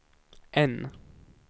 N